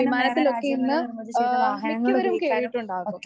വിമാനത്തിൽ ഒക്കെ ഇന്ന് ആഹ്‌ അവരും കയറിയിട്ടുണ്ടാകും.